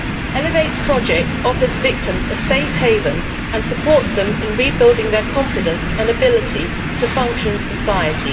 Elevate's project offers victims a safe haven and supports them in rebuilding their confidence and ability to function in society.